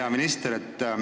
Hea minister!